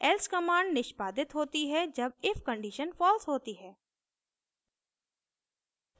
else command निष्पादित होती है जब if condition false होती है